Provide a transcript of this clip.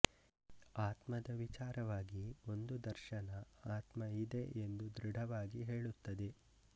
ಆತ್ಮದ ವಿಚಾರವಾಗಿ ಒಂದು ದರ್ಶನ ಆತ್ಮ ಇದೆ ಎಂದು ದೃಢವಾಗಿ ಹೇಳುತ್ತದೆ